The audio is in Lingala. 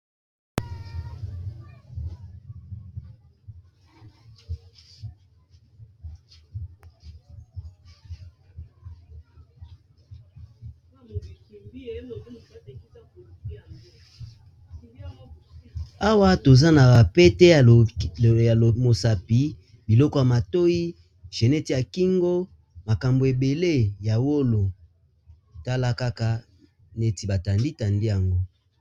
awa toza na bapete ya omosapi biloko ya matoi genete ya kingo makambo ebele ya wolo tala kaka neti batandi tandi yango